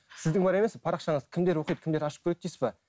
сіздің бар емес пе парақшаңызды кімдер оқиды кімдер ашып көреді дейсіз бе